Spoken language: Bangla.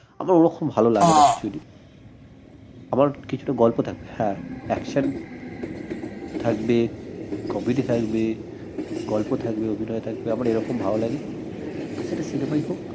আমার ওরকম ভাল লাগে না actually আমার কিছুটা গল্প থাকতে হয় হ্যাঁ action থাকবে comedy থাকবে গল্প থাকবে অভিনয় থাকবে আমার রকম ভাল লাগে সেটা cinema এই হোক